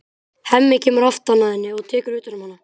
Hemmi kemur aftan að henni og tekur utan um hana.